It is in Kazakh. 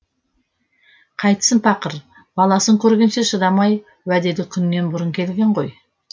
қайтсін пақыр баласын көргенше шыдамай уәделі күннен бұрын келген ғой